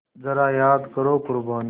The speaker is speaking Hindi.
ज़रा याद करो क़ुरबानी